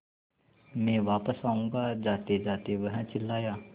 मैं वापस आऊँगा जातेजाते वह चिल्लाया